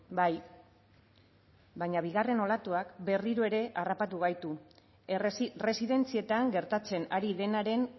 bai baina bigarren olatuak berriro ere harrapatu gaitu residentzietan gertatzen ari denaren